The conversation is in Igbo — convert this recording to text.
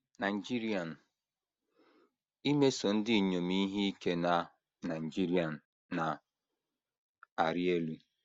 Nigerian: “ Imeso ndị inyom ihe ike na Nigerian na - arị elu.